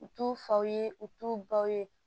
U t'u faw ye u t'u baw ye